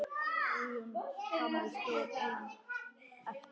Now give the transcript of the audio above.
Guðjón gamli stóð einn eftir.